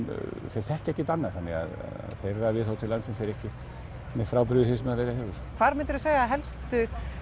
þeir þekkja ekkert annað þannig að þeirra viðhorf til landsins er ekkert mjög frábrugðið því sem verið hefur hvar myndir þú segja að helstu